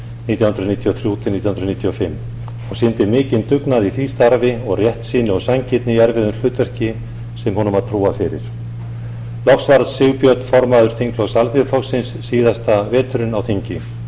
nítján hundruð níutíu og þrjú til nítján hundruð níutíu og fimm hann sýndi mikinn dugnað í því starfi og réttsýni og sanngirni í erfiðu hlutverki sem honum var trúað fyrir loks varð sigbjörn formaður þingflokks alþýðuflokksins síðasta veturinn á þingi